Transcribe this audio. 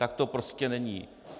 Tak to prostě není.